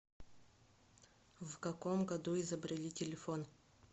в каком году изобрели телефон